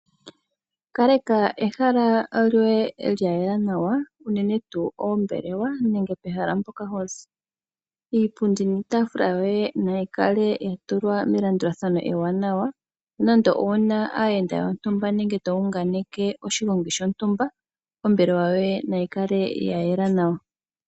Kaleka ehala lyoye lyayela nawa unene tuu oombekewa nenge pehala mpoka hozi. Iipundi niitaafula yoye nayikale yatulwa melandulathano ewanawa nande owuna aayenda yontumba nenge to unganeke oshigongi shontumba ombelewa yoye nayi kale yayela nawa.